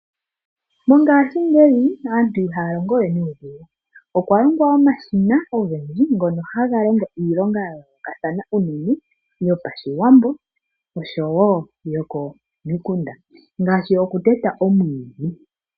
Mongashingeyi aantu ihaya longowe nuudhigu. Okwa longwa omashina ogendji ngono haga iilonga ya yoolokathana unene yopaShiwambo oshowo yokomikunda ngaashi okuteta omwiidhi.